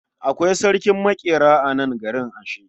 Akwai sarkin maƙera a nan garin ashe.